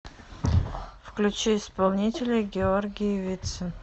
включи исполнителя георгий вицин